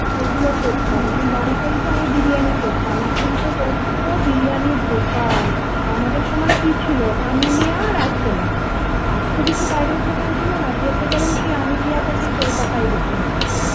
এগুলো করতাম যেমন বাড়িতেই তো আমি বিরিয়ানি করতাম এখন তো কত বিরিয়ানির দোকান আমাদের সময় কি ছিল আমিনিয়া, আরসালান আর তো কিছু বাইরের দোকান ছিল না যেতে গেলেও আমিনিয়াতে সেই কলকাতায় যেতে হতো।